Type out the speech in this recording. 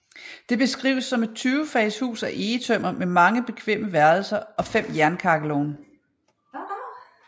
Det beskrives som et 20 fags hus af egetømmer med mange bekvemme værelser og fem jernkakkelovne